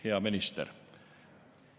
Hea minister!